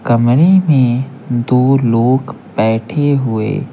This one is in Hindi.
कमरे में दो लोग बैठे हुए।